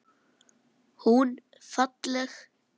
Hún falleg.